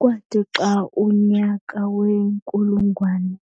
Kwathi xa umnyaka wenkulungwane